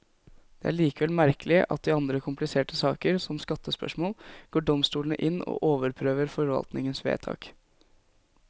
Det er likevel merkelig at i andre kompliserte saker, som skattespørsmål, går domstolene inn og overprøver forvaltningens vedtak.